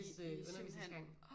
I er simpelthen åh